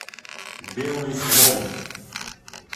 белый слон